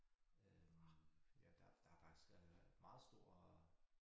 Øh ja der der faktisk øh meget stor